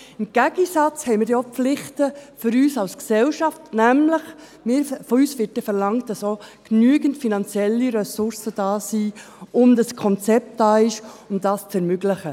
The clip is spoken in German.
Im Gegenzug haben wir dann auch Pflichten für uns als Gesellschaft, nämlich: Von uns wird dann verlangt, dass auch genügend finanzielle Ressourcen da sind und ein Konzept vorhanden ist, um dies zu ermöglichen.